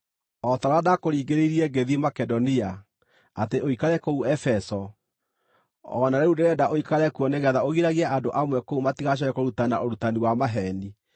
O ta ũrĩa ndakũringĩrĩirie ngĩthiĩ Makedonia, atĩ ũikare kũu Efeso o na rĩu ndĩrenda ũikare kuo nĩgeetha ũgiragie andũ amwe kũu matigacooke kũrutana ũrutani wa maheeni,